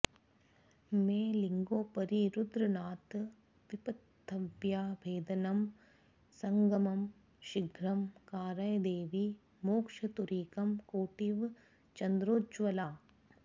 मे लिङ्गोपरि रुद्रनाथ विपथव्याभेदनं सङ्गमं शीघ्रं कारय देवि मोक्षतुरिकं कोटीव चन्द्रोज्ज्वला